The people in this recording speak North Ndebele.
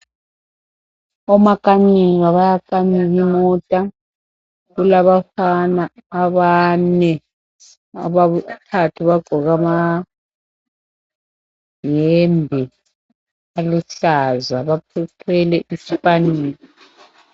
Omakanika bayakanika imota , kulabafana abane abathathu bagqoke amayembe aluhlaza bathwele ispanela